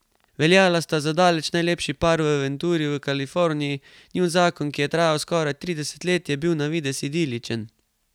Veljala sta za daleč najlepši par v Venturi v Kaliforniji, njun zakon, ki je trajal skoraj trideset let, je bil na videz idiličen.